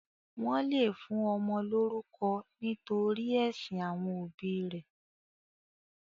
Wọ́n le fún ọmọ lórúkọ nítorí ẹ̀sìn àwọn òbí rẹ̀.